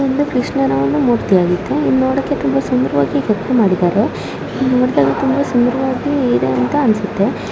ಇದು ಒಂದು ಕೃಷ್ಣನ ಮೂರ್ತಿಯಾಗಿದ್ದು ನೋಡೋಕೆ ತುಂಬಾ ಸುಂದರವಾಗಿ ಕೆತ್ತನೆ ಮಾಡಿದ್ದಾರೆ ಇದು ನೋಡದಾಗ ತುಂಬಾ ಸುಂದರವಾಗಿ ಇದೆ ಅಂತ ಅನ್ಸುತ್ತೆ .